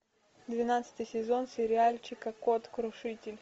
двенадцатый сезон сериальчика код крушитель